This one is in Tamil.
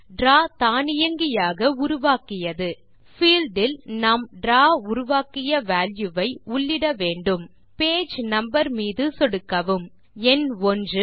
டிராவ் தானியங்கியாக உருவாக்கியது பீல்ட் இல் நாம் டிராவ் உருவாக்கிய வால்யூ ஐ உள்ளிட வேண்டும் பேஜ் நம்பர் மீது சொடுக்கவும் எண் 1